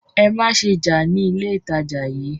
Ẹ má ṣe jà ní ilé ìtajà yìí!